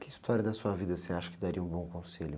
Que história da sua vida você acha que daria um bom conselho?